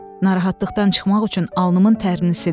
Narahatlıqdan çıxmaq üçün alnımın tərini sildim.